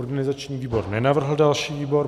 Organizační výbor nenavrhl další výbor.